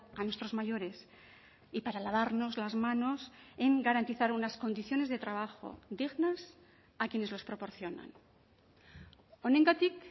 a nuestros mayores y para lavarnos las manos en garantizar unas condiciones de trabajo dignas a quienes los proporcionan honengatik